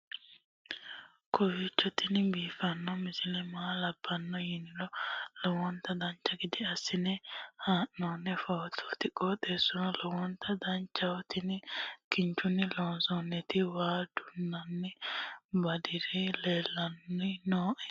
kowiicho tini biiffanno misile maa labbanno yiniro lowonta dancha gede assine haa'noonni foototi qoxeessuno lowonta danachaho. tini kinchunni loonsooniti waa duunnanni badiri leellanni nooe